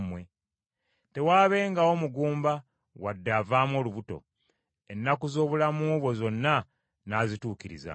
tewaabengawo mugumba wadde avaamu olubuto. Ennaku z’obulamu bwo zonna nnaazituukirizanga.